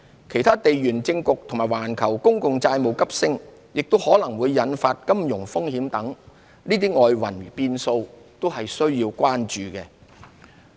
其他地緣政局及環球公共債務急升可能引發的金融風險等外圍變數，均須關注。